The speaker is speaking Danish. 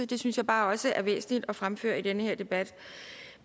det synes jeg bare også er væsentligt at fremføre i den her debat